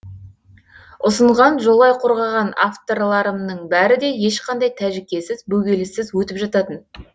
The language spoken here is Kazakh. ұсынған жолай қорғаған авторларымның бәрі де ешқандай тәжікесіз бөгеліссіз өтіп жататын